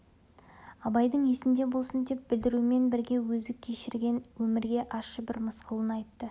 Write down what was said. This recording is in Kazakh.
абайдың есінде болсын деп білдірумен бірге өзі кешірген өмірге ащы бір мысқылын айтты